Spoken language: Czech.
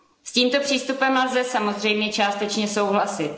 S tímto přístupem lze samozřejmě částečně souhlasit.